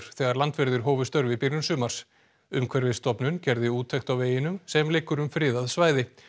þegar landverðir hófu störf í byrjun sumars gerði úttekt á veginum sem liggur um friðað svæði